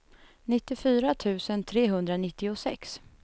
nittiofyra tusen trehundranittiosex